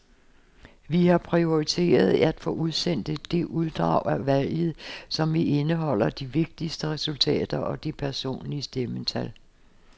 Vi har prioriteret at få udsendt det uddrag af valget, som indeholder de vigtigste resultater og de personlige stemmetal.